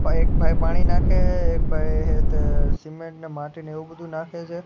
અ એક ભાઈ પાણી નાખે હે એક ભાઈ હે તે સિમેન્ટ ને માટી ને એવુ બધુ નાખે છે.